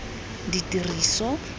ditiriso